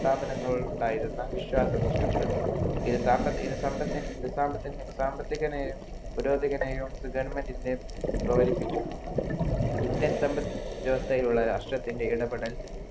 സാദനങ്ങൾ ഉണ്ടായിരുന്ന വിശ്വാസം നഷ്ടപ്പടുത്തി സാമ്പത്തിക പൂരോതിനെയും government പ്രകോലിപിച്ചു ഇന്ത്യ സമ്ബത് വ്യവസ്ഥയുള്ള രാഷ്ട്രത്തിൻ്റെ ഇടപെടൽ